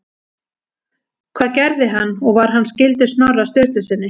Hvað gerði hann og var hann skyldur Snorra Sturlusyni?